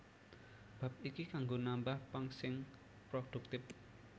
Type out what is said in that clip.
Bab iki kanggo nambah pang sing prodhuktif